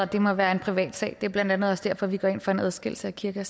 det må være en privatsag det er blandt andet også derfor vi går ind for en adskillelse af kirke